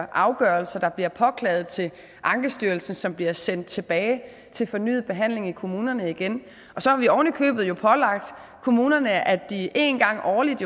afgørelser der bliver påklaget til ankestyrelsen som bliver sendt tilbage til fornyet behandling i kommunerne og så har vi ovenikøbet pålagt kommunerne at de en gang årligt